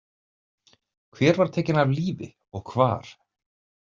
Hver var tekin af lífi og hvar?